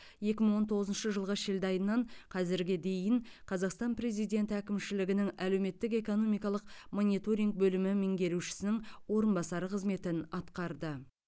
екі мың он тоғызыншы жылғы шілде айынан қазірге дейін қазақстан президенті әкімшілігінің әлеуметтік экономикалық мониторинг бөлімі меңгерушісінің орынбасары қызметін атқарды